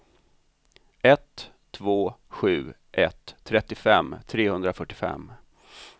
ett två sju ett trettiofem trehundrafyrtiofem